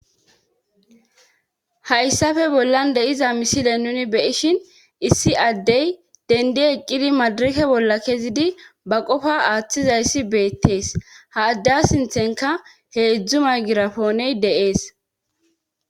Hayssafe bollan deiza misile nuni beyishin issi addey dendi eqqidi madirake bolla kezidi ba qofa aaththizayssi beettees ha adde sinthenka hee idzdzu may girapooney deees